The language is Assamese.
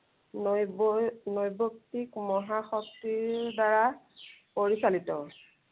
নৈবৈ, নৈবত্ত্বিক মহাশক্তিৰ দ্বাৰা পৰিচালিত।